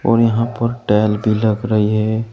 और यहां पर टैल भी लग रही है।